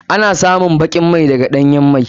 Ana samun bakin mai daga ɗanyan mai.